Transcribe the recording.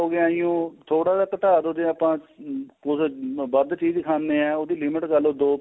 ਹੋ ਗਿਆ ਜੀ ਉਹ ਥੋੜਾ ਜਾ ਘਟਾ ਦੋ ਜੇ ਆਪਾਂ ਕੁੱਝ ਵੱਧ ਚੀਜ ਖਾਣੇ ਆ ਉਹਦੀ limit ਲਗਾ ਲੋ ਦੋ